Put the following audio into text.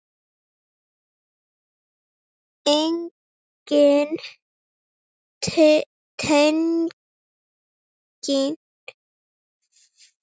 Engin tenging fannst við Ísland.